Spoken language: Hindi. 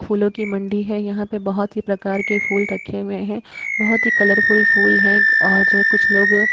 फूलो की मंडी है। यहाँ पर बहुत ही प्रकार के फुल रखे हुए हैं। बहुत ही कलरफुल फुल है और कुछ लोग --